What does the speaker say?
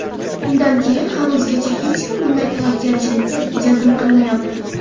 Undan keyin hanuzgacha hech kim bunday tavakkalchilikka jazm qilmayotir.